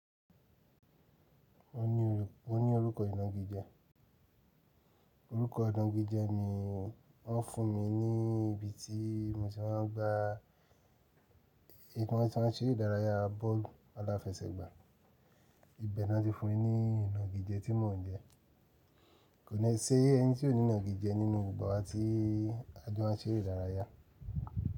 Mo ní orúkọ ìnagijẹ, orúkọ ìnagijẹ mi wọ́n fún mi ní ibi tí mo tí maa n gbá tí mo ti maa n se ere ìdárayá bọ́ọ̀lù aláfẹsẹ̀gbá. Ibẹ̀ ni wọ́n ti fún mi ní ìnagijẹ tí mò ń jẹ. Kò ní ṣe ẹni tí ò ní ìnagijẹ nínú gbogbo àwa tí a jọ máa n ṣe eré ìdárayá.